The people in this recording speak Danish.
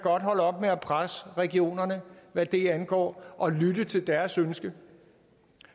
holde op med at presse regionerne hvad det angår og lytte til deres ønske